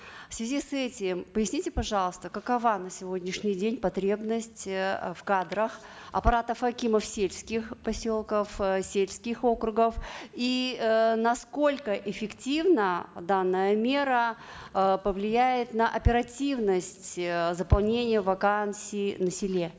в связи с этим поясните пожалуйста какова на сегодняшний день потребность э в кадрах аппаратов акимов сельских поселков э сельских округов и э насколько эффективно данная мера э повлияет на оперативность э заполнения вакансий на селе